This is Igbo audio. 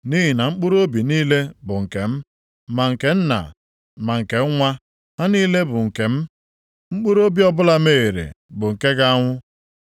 Nʼihi na mkpụrụobi niile bụ nke m, ma nke nna ma nke nwa, ha niile bụ nke m. Mkpụrụobi ọbụla mehiere bụ nke ga-anwụ.